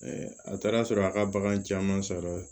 a taara sɔrɔ a ka bagan caman sɔrɔ